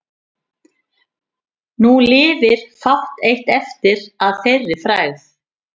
Nú lifir fátt eitt eftir að þeirri frægð.